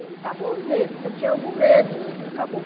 Acabou o medo, se eu tinha algum medo, acabou.